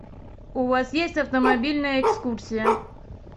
у вас есть автомобильная экскурсия